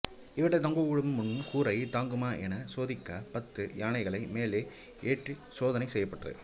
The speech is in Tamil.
இவற்றைத் தொங்கவிடும் முன் கூரை தாங்குமா எனச் சோதிக்கப் பத்து யானைகளை மேலே ஏற்றிச் சோதனை செய்யப்பட்டது